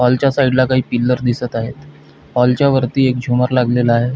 Hall च्या side ला काही पिल्लर दिसत आहेत हॉल च्यावरती एक झुमर लागलेले आहे.